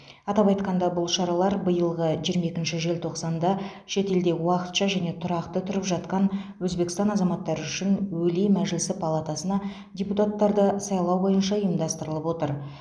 атап айтқанда бұл шаралар биылғы жиырма екінші желтоқсанда шетелде уақытша және тұрақты тұрып жатқан өзбекстан азаматтары үшін өлий мәжілісі палатасына депутаттарды сайлау бойынша ұйымдастырылып отыр